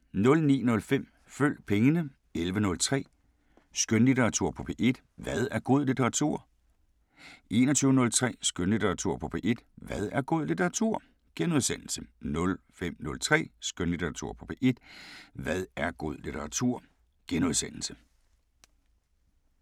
09:05: Følg pengene 11:03: Skønlitteratur på P1: Hvad er god litteratur? 21:03: Skønlitteratur på P1: Hvad er god litteratur? * 05:03: Skønlitteratur på P1: Hvad er god litteratur? *